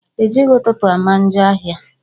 Ejighi ụtụtụ ama njọ áhiá.